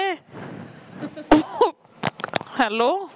hello